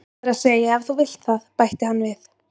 Það er að segja ef þú vilt það, bætti hann við.